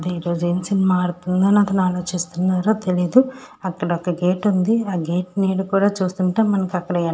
ఈ రోజు ఏం సినిమా ఆడుతుందో అని ఆలోచిస్తూనారా తెలీదు అక్కడ ఒక గేట్ ఉంది ఆ గేట్ నీడ కూడా చూస్తుంటాం మనకి --